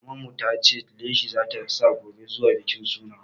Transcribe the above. Maman mu ta ce leshi za ta sa gobe zuwa bikin suna.